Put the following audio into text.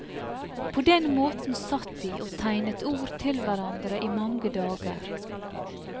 På den måten satt de og tegnet ord til hverandre i mange dager.